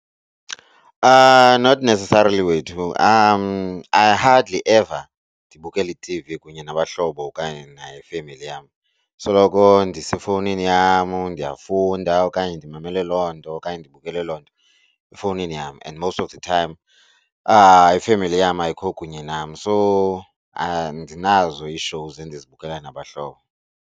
Not neccesarily wethu I hardly ever ndibukele ithivi kunye nabahlobo okanye nefemeli yam. Soloko ndisefowuni yam ndiyafunda okanye ndimamele loo nto okanye ndibukele loo nto efowunini yam and most of time ifemeli yam ayikho kunye nam. So andinazo ii-shows endizibukela nabahlobo.